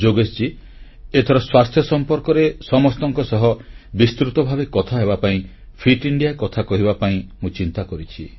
ଯୋଗେଶଜୀ ଏଥର ସ୍ୱାସ୍ଥ୍ୟ ସମ୍ପର୍କରେ ସମସ୍ତଙ୍କ ସହ ବିସ୍ତୃତ ଭାବେ କଥାହେବାପାଇଁ ଫିଟ୍ ଇଣ୍ଡିଆ କଥା କହିବା ପାଇଁ ମୁଁ ଚିନ୍ତା କରିଛି